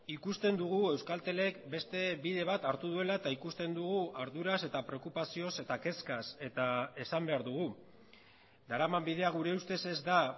ikusten dugu euskaltelek beste bide bat hartu duela eta ikusten dugu arduraz eta preokupazioz eta kezkaz eta esan behar dugu daraman bidea gure ustez ez da